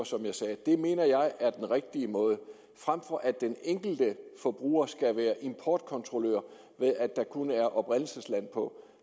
som jeg sagde det mener jeg er den rigtige måde frem for at den enkelte forbruger skal være importkontrollør når der kun er oprindelsesland på